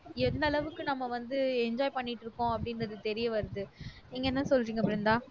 எந்த அளவுக்கு நம்ம வந்து enjoy பண்ணிட்டு இருக்கோம் அப்படின்றது தெரிய வருது நீங்க என்ன சொல்றீங்க பிருந்தா